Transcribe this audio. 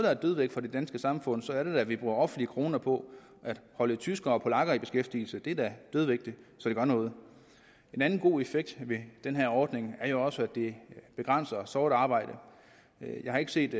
er dødvægt for det danske samfund så er det da at vi bruger offentlige kroner på at holde tyskere og polakker i beskæftigelse det er da dødvægt så det gør noget en anden god effekt af den her ordning er jo også at det begrænser sort arbejde jeg har ikke set